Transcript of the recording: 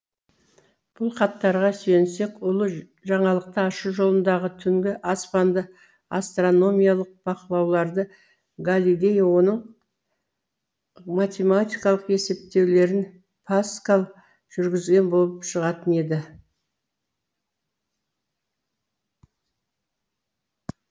бұл хаттарға сүйенсек ұлы жаңалықты ашу жолындағы түнгі аспанды астрономиялық бақылауларды галилей оның математикалық есептеулерін паскаль жүргізген болып шығатын еді